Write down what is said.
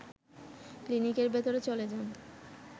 ক্লিনিকের ভিতরে চলে যান